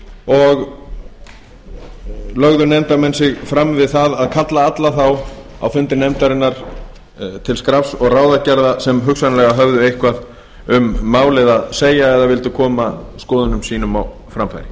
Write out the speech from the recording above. og lögðu nefndarmenn sig fram við það að kalla alla þá á fundi nefndarinnar til skrafs og ráðagerða sem hugsanlega höfðu eitthvað um málið að segja eða vildu koma skoðunum sínum á framfæri